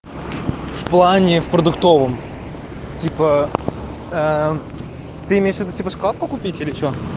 в плане в продуктовом типа ты имеешь ввиду типа шоколадку купить или что